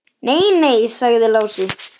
Nei, nei, sagði Lási.